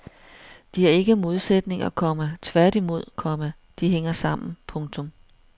De er ikke modsætninger, komma tværtimod, komma de hænger sammen. punktum